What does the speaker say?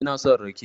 Ina son rake